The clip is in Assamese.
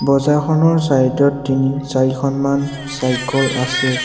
বজাৰখনৰ চাইড ত তিনি-চাৰিখনমান চাইকল আছে।